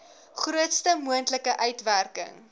grootste moontlike uitwerking